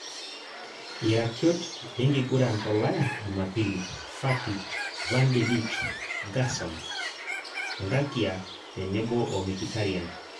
Iratiot lenkiguran tolaya jumapili; Fati, Van de Beek, Gerson, Ngakia tenebo o mikitarian